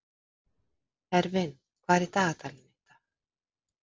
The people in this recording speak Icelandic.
Hervin, hvað er í dagatalinu í dag?